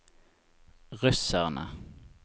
russerne